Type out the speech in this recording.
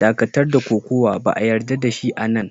Dakatar da Kokawa! Ba'a yarda da shi a'nan!